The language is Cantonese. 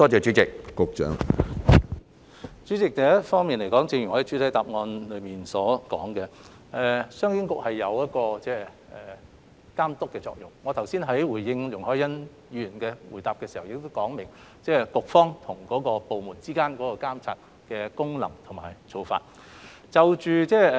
主席，首先，一如我在主體答覆所說，商經局所發揮的是監督作用，我剛才答覆容海恩議員所提補充質詢時亦已解釋，局方對部門存在監察的功能和角色。